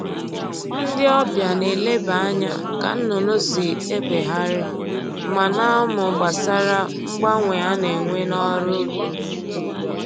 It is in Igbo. Ndị ọbịa na-eleba anya ka nnụnụ si egbegharị ma na-amụ gbasara mgbanwe a na-enwe n'ọrụ ubi